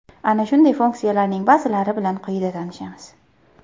Ana shunday funksiyalarning ba’zilari bilan quyida tanishamiz.